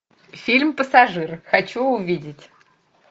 фильм пассажир хочу увидеть